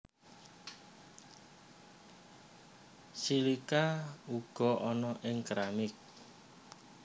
Silika uga ana ing keramik